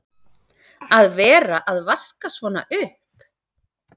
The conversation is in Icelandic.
Að vera að vaska svona upp!